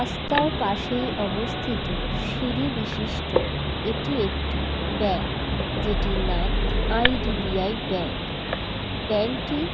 রাস্তার পাশে অবস্থিত সিঁড়ি বিশিষ্ট এটি একটি ব্যাংক যেটির নাম আই_ডি_বি_আই ব্যাংক ব্যাংক -টি --